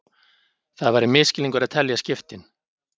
Það væri misskilningur að telja skiptin